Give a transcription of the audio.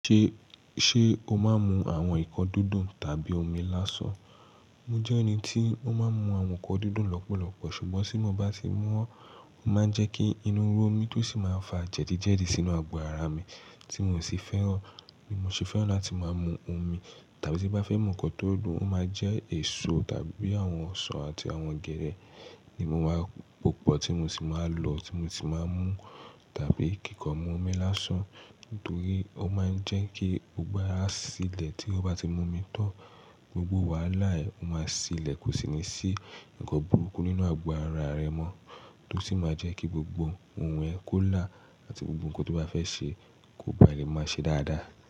Ṣé, ṣe o máa ń mu àwọn nǹkan dúdù tàbí omi lásán? Mo jẹ́ ẹni tí ó máa ń mu àwọn nǹkan dúdù lọ́pọ̀lọpọ̀, ṣùgbọ́n tí mo bá ti mú wọn, ó máa ń jẹ́ kí inú rọ mí tó sì máa ń fa jẹ̀dí jẹ̀dí sínú ago ara mi tí mò sì fẹ́ràn. Bí mo ṣe fẹ́ràn láti máa mu omi tàbí tí bá fẹ́ mu nǹkan tó dùn, ó máa jẹ́ èso tàbí àwọn ọsàn àti àwọn ogẹ́dẹ́ ni mo má popọ̀ tí mo sì máa lò tí mo sì máa ń mú tàbí kíkọ́ mu omi lásán nítorí ó máa ń jẹ́ kí gbogbo ara sílẹ̀ tí ó bá ti mu omi tán. Gbogbo wàhálà ẹ máa sílẹ̀ kò sì ní sí nǹkan burúkú nínú ago ara rẹ mọ́ tó sì máa jẹ́ kí gbogbo ohun ẹ kó là àti gbogbo nǹkan tí o bá fẹ́ ṣe kó bá lẹ máa ṣe dáadáa.